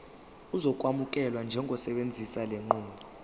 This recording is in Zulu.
uzokwamukelwa njengosebenzisa lenqubo